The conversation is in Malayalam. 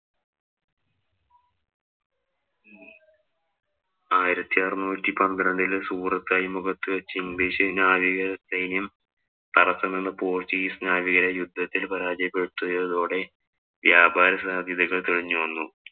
ആയിരത്തി അറുനൂറ്റി പന്ത്രണ്ടില് സൂററ്റ് അഴിമുഖത്ത് വച്ച് ഇംഗ്ലീഷ് നാവിക സൈന്യം തടസം നിന്ന പോര്‍ച്ചുഗീസ് നാവികരെ യുദ്ധത്തില്‍ പരാജയപ്പെടുത്തിയതോടെ വ്യാപാര സാധ്യതകള്‍ തെളിഞ്ഞു വന്നു.